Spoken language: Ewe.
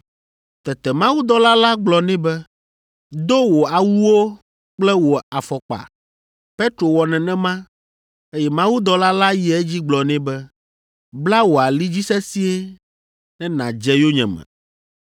Tete mawudɔla la gblɔ nɛ be, “Do wò awuwo kple wò afɔkpa.” Petro wɔ nenema, eye mawudɔla la yi edzi gblɔ nɛ be, “Bla wò ali dzi sesĩe ne nàdze yonyeme.”